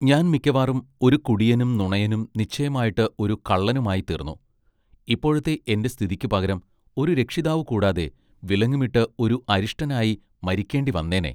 ഞാൻ മിക്കവാറും ഒരു കുടിയനും നുണയനും നിശ്ചയമായിട്ട് ഒരു കള്ളനുമായിത്തീർന്നു ഇപ്പോഴത്തെ എന്റെ സ്ഥിതിക്ക് പകരം ഒരു രക്ഷിതാവു കൂടാതെ വിലങ്ങുമിട്ട് ഒരു അരിഷ്ടനായി മരിക്കേണ്ടിവന്നേനെ.